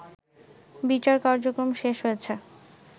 বিচার কার্যক্রম শেষ হয়েছে